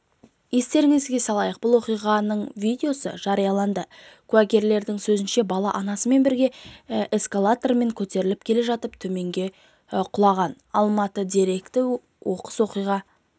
естеріңізге салайық бұл оқиғаның видеосы жарияланды куәгерлердің сөзінше бала анасымен бірге эскалатормен көтеріліп келе жатып төменге құлаған алматы деректі оқыс оқиға